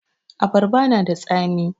Abarba na da tsami